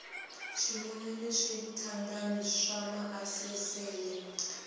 swinene ni switandati swa maasesele